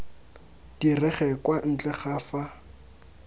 direge kwa ntle ga fa